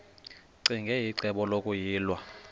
ccinge icebo lokuyilwa